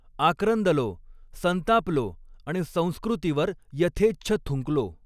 आक्रंदलो, संतापलो आणि संस्कृतीवर यथेच्छ थुंकलो